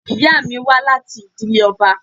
Ìyá mi wá láti ìdílé ọba.